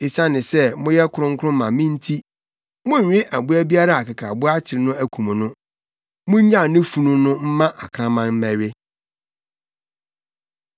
“Esiane sɛ moyɛ kronkron ma me nti, monnwe aboa biara a akekaboa akyere no akum no. Munnyaw ne funu no mma akraman mmɛwe.